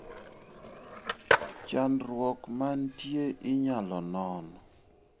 Chandruok manitie inyalo non.